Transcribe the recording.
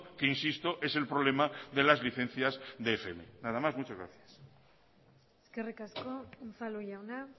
que insisto es el problema de las licencias de fm nada más muchas gracias eskerrik asko unzalu jauna